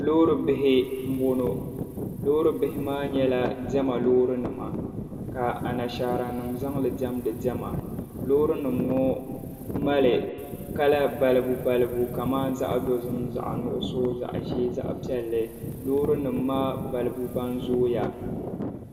Loori bihi m-bɔŋɔ. Loori bihi maa nyɛla diɛma loorinima ka anashaaranima zaŋ li diɛmdi diɛma. Loorinima ŋɔ mali kala balibubalibu kamani zaɣ' dozim zaɣ' nuɣiso zaɣ' ʒee zaɣ' piɛlli. Loorinima maa balibu ban zooya.